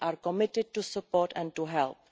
We are committed to support and to help.